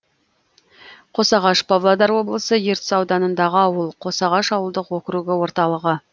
қосағаш павлодар облысы ертіс ауданындағы ауыл қосағаш ауылдық округі орталығы